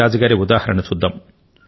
రాజు ను చూడండి